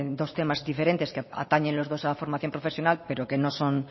dos temas diferentes que atañen los dos a la formación profesional pero que no son